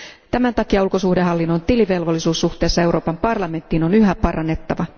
Tämän takia ulkosuhdehallinnon tilivelvollisuutta suhteessa Euroopan parlamenttiin on yhä parannettava.